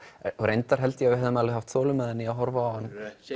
reyndar held ég að við hefðum alveg haft þolinmæðina að horfa á hann